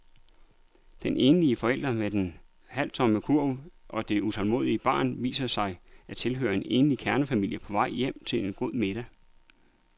Den enlige forælder med den halvtomme kurv og det utålmodige barn viser sig at tilhøre en rigtig kernefamilie på vej hjem til en god middag.